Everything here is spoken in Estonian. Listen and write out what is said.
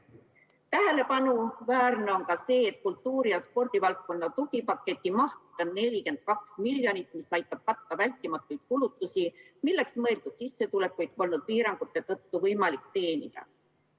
Tähelepanuväärne on ka see, et kultuuri- ja spordivaldkonna tugipaketi maht on 42 miljonit, mis aitab katta vältimatuid kulutusi, milleks mõeldud sissetulekuid polnud piirangute tõttu võimalik teenida.